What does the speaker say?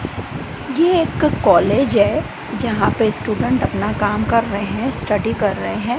ये एक कालेज है जहां पे स्टूडेंट अपना काम कर रहे है स्टडी कर रहे है।